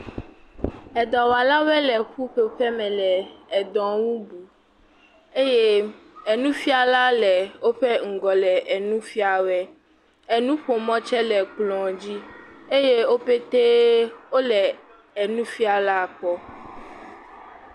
Edɔwɔlawo le ƒuƒoƒe me le edɔ nu bum eye enufiala le wo ƒe ŋgɔ le nu fia woe. Enuƒomɔ tse le ekplɔ dzi eye woƒete wo le enufiala kpɔ.